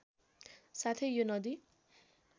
साथै यो नदी